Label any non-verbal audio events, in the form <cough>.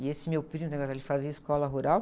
E esse meu primo, <unintelligible> ele fazia escola rural.